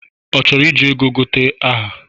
Ọ chọrọ iji ego gote aha?